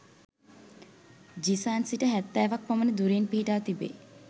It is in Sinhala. ජිසාන් සිට හැත්තෑවක් පමණ දුරින් පිහිටා තිබේ.